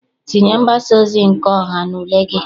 Tinye mgbasaozi nke ọha n'ule gị!